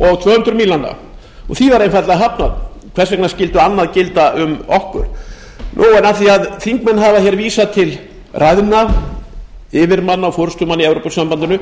og tvö hundruð mílnanna því var einfaldlega hafnað hvers vegna skyldi annað gilda um okkur af því að þingmenn hafa vísað til ræðna yfirmanna og forustumanna í evrópusambandinu